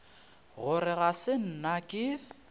gore ga se nna ke